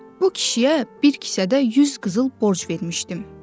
Bu kişiyə bir kisədə yüz qızıl borc vermişdim.